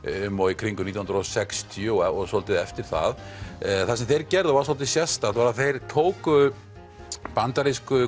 um og í kringum nítján hundruð og sextíu og dálítið eftir það það sem þeir gerðu var dálítið sérstakt þeir tóku bandarísku